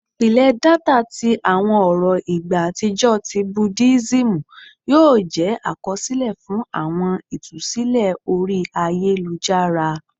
Ipilẹ data ti awọn ọrọ igba atijọ ti Budism yoo jẹ akọsilẹ fun awọn itusilẹ ori ayelujara